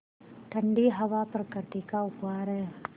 ठण्डी हवा प्रकृति का उपहार है